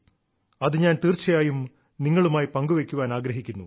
അത് ഞാൻ തീർച്ചയായും നിങ്ങളുമായി പങ്കുവെയ്ക്കാൻ ആഗ്രഹിക്കുന്നു